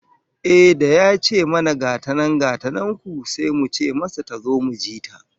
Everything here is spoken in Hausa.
Ehh, da ya ce mana gata nan gata nan ku, sai muka ce masa tazo mu ji ta